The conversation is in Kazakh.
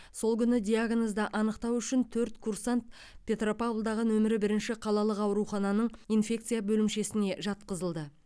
сол күні диагнозды анықтау үшін төрт курсант петропавлдағы нөмірі бірінші қалалық аурухананың инфекция бөлімшесіне жатқызылды